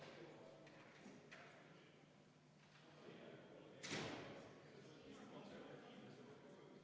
Seega, panen hääletusele neljanda muudatusettepaneku.